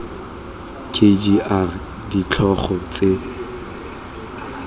k g r ditlhogo tse